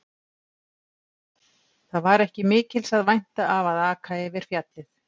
Það var ekki mikils að vænta af að aka yfir fjallið.